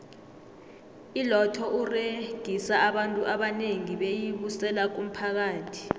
iloto uregisa abantu abanengi beyi busela kumphakathi